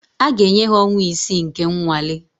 A ga-enye ha ọnwa isii nke nnwale